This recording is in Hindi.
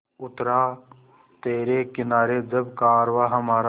उतरा तिरे किनारे जब कारवाँ हमारा